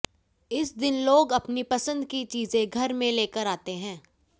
इस दिन लोग अपनी पसंद की चीजें घर में लेकर आते हैं